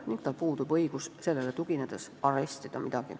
Samuti puudub tal õigus sellele tuginedes midagi arestida.